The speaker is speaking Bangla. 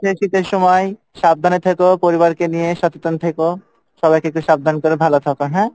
শীতের সময়, সাবধানে থেকো পরিবারকে নিয়ে সচেতন থেকো, সবাইকে একটু সাবধান করে ভালো থাকো হ্যাঁ?